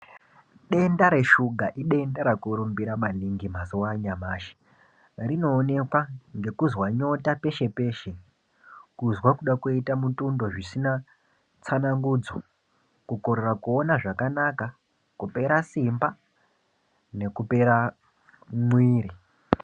Denda reshuga idenda rakurumbira maningi mazuva anyamashi rinoonekwa ngekuzwa nyota peshe-peshe. Kuzwa kuda kuita mutundo zvisina tsana ngudzo. Kukorera kuona zvakanaka kupera simba nekupera mwiri.